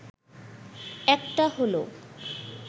একটা হলো